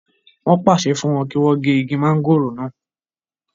wọ́n pàṣẹ fún wọn kí wọ́n gé igi mọ́ngòrò náà